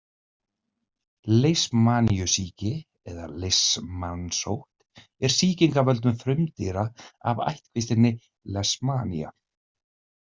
Leishmaniusýki eða leishmanssótt er sýking af völdum frumdýra af ættkvíslinni Leishmania.